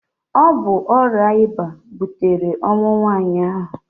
Ọ bụ ọrịa ịba butere ọnwụ nwaanyị ahụ.